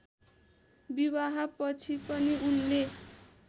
विवाहपछि पनि उनले